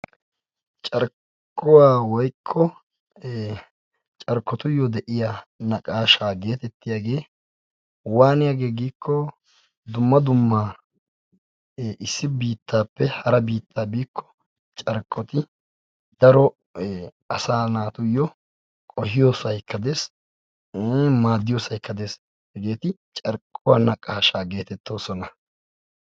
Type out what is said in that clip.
Carkkuwa woykko carkkotuyyo de'iyaa naqaashsha getettiyaage waanaiyaagee giiko dumma dumma issi biittappe hara biitta biiko carkkoti daro asaa naatuyo qohiyoosaykka dees, maaddiyosaykka dees, hegeti carkkuwaa naqaashaa getetoosona.